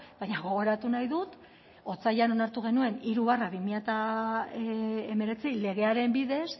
baina gogoratu nahi dut otsailean onartu genuen hiru barra bi mila hemeretzi legearen bidez